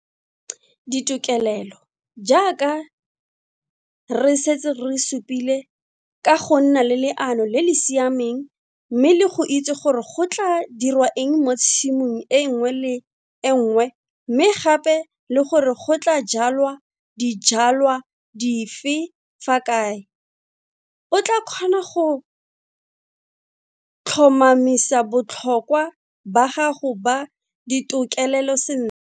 Ditokelelo jaaka re setse re supile, ka go nna le leano le le siameng mme le go itse gore go tlaa dirwa eng mo tshimong e nngwe le e nngwe mme gape le gore go tlaa jwalwa dijwalwa dife fa kae, o tlaa kgona go tlhomamisa botlhokwa ba gago ba ditokelelo sentle.